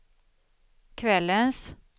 kvällens